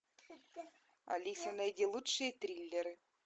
алиса найди лучшие триллеры